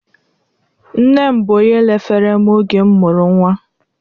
Nne m bụ onye lefere m oge m mụrụ nwa